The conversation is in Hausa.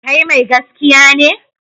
Kai mai gaskiya ne?